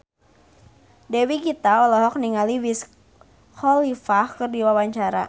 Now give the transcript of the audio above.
Dewi Gita olohok ningali Wiz Khalifa keur diwawancara